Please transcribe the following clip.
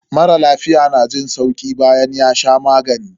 Mara lafiya na jin sauki bayan ya sha magani.